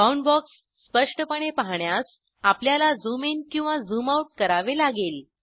bound box स्पष्टपणे पाहण्यास आपल्याला झूम ईन किंवा झूम आऊट करावे लागेल